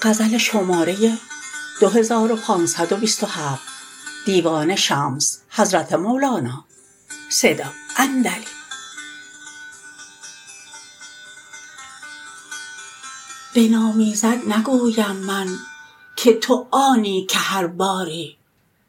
بنامیزد نگویم من که تو آنی که هر باری